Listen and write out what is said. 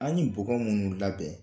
An ye bɔgɔ minnu la bɛn